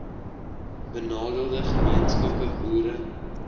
benadeelde gemeenskappe boere